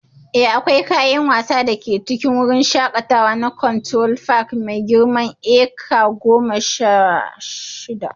Eh, akwai kayan wasa da ke cikin wurin shakatawa na Cultural Park mai girman eka goma sha shida.